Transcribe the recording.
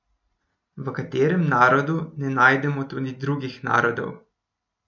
V katerem narodu ne najdemo tudi drugih narodov?